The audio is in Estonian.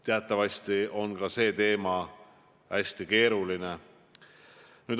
Teatavasti on ka see teema hästi keeruline.